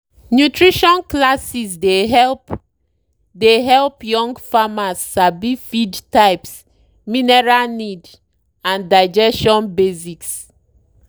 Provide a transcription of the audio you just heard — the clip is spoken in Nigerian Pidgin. nutrition classes dey help dey help young farmers sabi feed types mineral need and digestion basics.